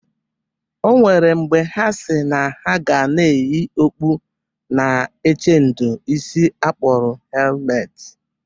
O nwere mgbe ha si na ha ga na eyi okpu na-echedo isi akpọlụ hemet.